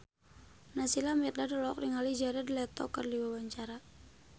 Naysila Mirdad olohok ningali Jared Leto keur diwawancara